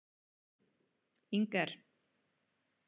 HVAÐA SKEMMDARSTARFSEMI ER ÞETTA EIGINLEGA!